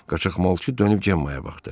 Qaçaqmalçı dönüb Gemmaya baxdı.